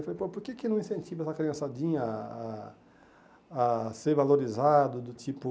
Eu falei, pô, por que que eu não incentivo essa criançadinha a a a ser valorizado do tipo...